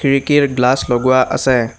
খিৰিকীৰ গ্লাচ লগোৱা আছে।